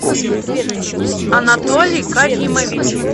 анатолий каримович